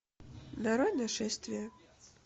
нарой нашествие